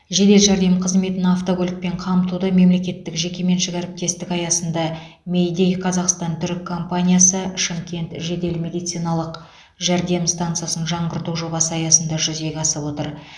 жедел жәрдем қызметін автокөлікпен қамтуды мемлекеттік жекеменшік әріптестік аясында мейдей қазақстан түрік компаниясы шымкент жедел медициналық жәрдем стансасын жаңғырту жобасы аясында жүзеге асып отыр